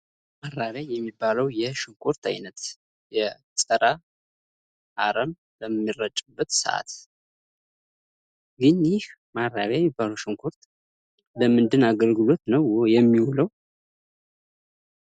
ማራቢያ የሚባለዉ የሽንኩርት አይነት የፀረ አረም በሚረጭበት ሰዓት የእኒህ ማረቢያ የሚባለው ሽንኩርት ለምንድን አገልግሎት ነው የሚውለው?